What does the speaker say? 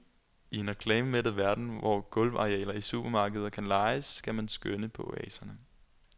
I en reklamemættet verden, hvor gulvarealer i supermarkeder kan lejes, skal man skønne på oaserne.